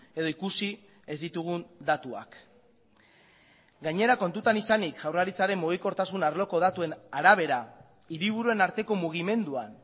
edo ikusi ez ditugun datuak gainera kontutan izanik jaurlaritzaren mugikortasun arloko datuen arabera hiriburuen arteko mugimenduan